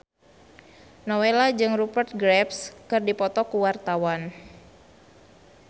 Nowela jeung Rupert Graves keur dipoto ku wartawan